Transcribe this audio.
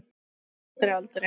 Aldrei, aldrei!